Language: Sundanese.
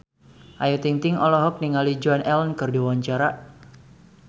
Ayu Ting-ting olohok ningali Joan Allen keur diwawancara